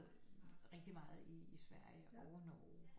Rigtig meget i Sverige og i Norge